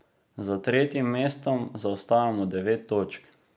Za tretjim mestom zaostajamo devet točk.